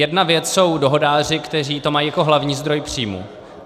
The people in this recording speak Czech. Jedna věc jsou dohodáři, kteří to mají jako hlavní zdroj příjmů.